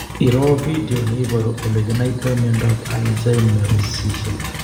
Iroo video neiparu olekinaitoi miondap alzheimersishek